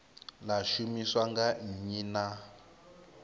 ḽa shumiswa nga nnyi na